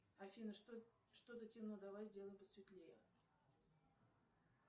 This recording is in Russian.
афина что то темно давай сделаем посветлее